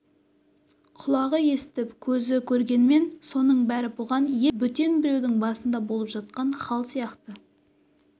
құлағы естіп көзі көргенмен соның бәрі бұған еш қатысысыз бөтен біреудің басында болып жатқан хал сияқты